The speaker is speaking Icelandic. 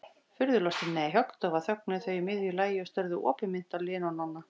Furðulostin, nei, höggdofa þögnuðu þau í miðju lagi og störðu opinmynnt á Lenu og Nonna.